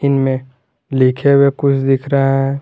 इनमें लिखे हुए कुछ दिख रहा है।